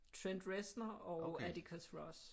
Trent Reznor og Atticus Ross